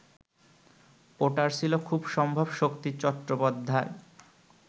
ওটার ছিল খুব সম্ভব শক্তি চট্টোপাধ্যায়